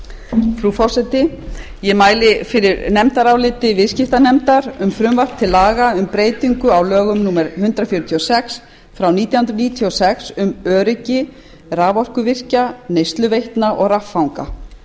frú forseti ég mæli fyrir nefndaráliti viðskiptanefndar um frumvarp til laga um breytingu á lögum númer hundrað fjörutíu og sex nítján hundruð níutíu og sex um öryggi raforkuvirkja neysluveitna og raffanga